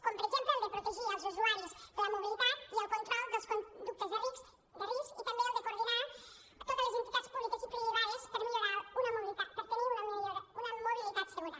com per exemple el de protegir els usuaris de la mobilitat i el control de les conductes de risc i també el de coordinar totes les entitats públiques i privades per tenir una mobilitat segura